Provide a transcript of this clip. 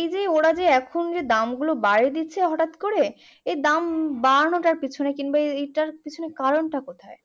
এই যে ওরা যে এখন দামগুলো বাড়িয়ে দিচ্ছে হঠাৎ করে এই দাম বাড়ানোটার পিছনে কিংবা এইটার পেছনে কারণ টা কোথায়